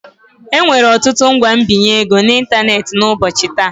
Enwere ọtụtụ ngwa mbinye ego n'ịntanetị n'ụbọchị taa.